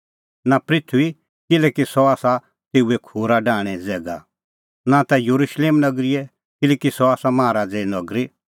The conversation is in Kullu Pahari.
नां पृथूईए किल्हैकि सह आसा तेऊए खूरा डाहणें ज़ैगा नां ता येरुशलेम नगरीए किल्हैकि सह आसा माहा राज़े नगरी